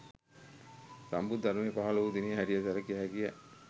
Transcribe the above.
සම්බුද්ධ ධර්මය පහළ වූ දිනය හැටියට සැලකිය හැකිය